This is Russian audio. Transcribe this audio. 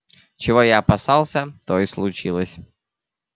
чего я опасался то и случилось